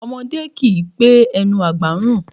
Ọmọdé kì í pé ẹnu àgbà ń rùn